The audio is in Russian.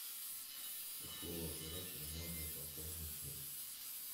с какого оператора можно пополнить счет